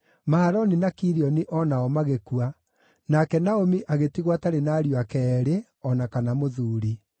Mahaloni na Kilioni o nao magĩkua, nake Naomi agĩtigwo atarĩ na ariũ ake eerĩ, o na kana mũthuuri.